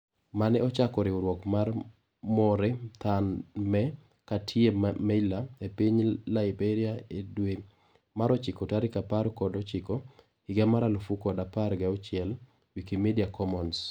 Mane ochako riwruok mar More Than Me Katie Meyler epiny Laiberia edwe mar ochiko tarik apar kod ochiko higa mar alufu kod apar gauchiel, wikimedia commons.